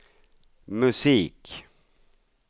musik